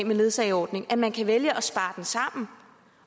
med ledsageordningen at man kan vælge at spare den sammen